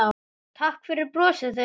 Takk fyrir brosið þitt.